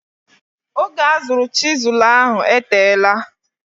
Oge azụrụ chisụl ahụ eteela.